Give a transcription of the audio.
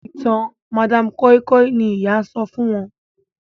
ìtàn madam koi koi ní ìyá sọfún wón.